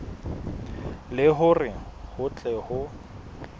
le hore ho tle ho